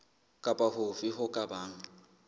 kapa hofe ho ka bang